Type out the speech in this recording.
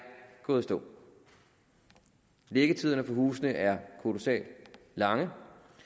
gået i stå liggetiderne for husene er kolossalt lange